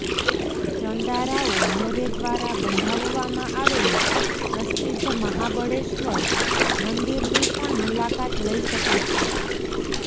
ચંદારાઓ મોરે દ્વારા બંધાવવામાં આવેલા પ્રસિદ્ધ મહાબળેશ્વર મંદિરની પણ મુલાકાત લઈ શકો છો